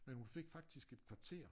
Men hun fik faktisk et kvarter